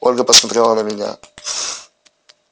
ольга посмотрела на меня